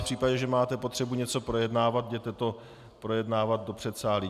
V případě, že máte potřebu něco projednávat, jděte to projednávat do předsálí.